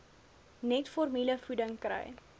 net formulevoeding kry